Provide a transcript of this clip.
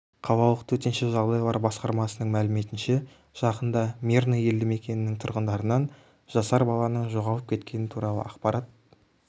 қалалық төтенше жағдайлар басқармасының мәліметінше жақында мирный елді мекенінің тұрғындарынан жасар баланың жоғалып кеткені туралы ақпарат